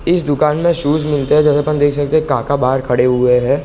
इस दुकान मे शूज मिलते है जहाँ हम देख सकते है काका बाहर खड़े हुए है ।